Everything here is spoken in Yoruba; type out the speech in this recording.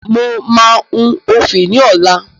Mo máa hun òfì ní ọlá.